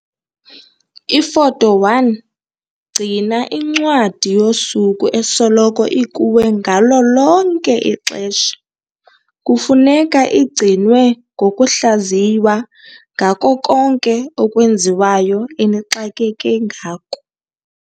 Ifoto 1- Gcina incwadi yosuku esoloko ikuwe ngalo lonke ixesha. Kufuneka igcinwe ngokuhlaziywa ngako konke okwenziwayo enixakeke ngako.